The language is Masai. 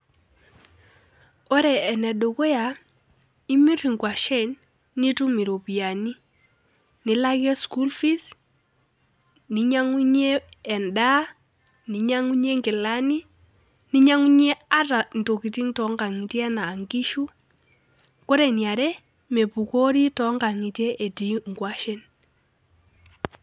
Ore eneduya imir nkwashen ,nitum iropiyani nilakie school fees ninyangunyie endaa ninyangunyie nkilani ninyangunyie ata ntokitin tonkangitie anaa nkishu ,ore eniare mepukori tonkangitie etii nkwashen.